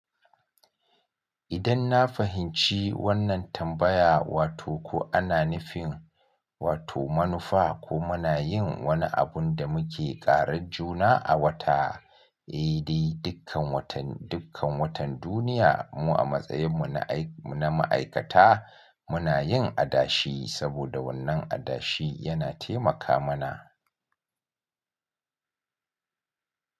Idan na fahimci wannan tambaya, wato ko ana nufin wato manufa ko muna yin wani abun da muke ƙara juna a wata, eh dai dukkan watan, dukkan watan duniya mu a matsayin mu na aiki, na ma'aikata muna yin adashi saboda wannan adashi yana taimaka mana.